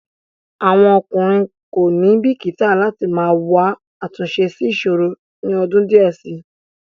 Àwọn ọkùnrin kò ní bìkíta láti máa wá àtúnṣe sí ìṣòro ni ọdún díẹ̀ síi.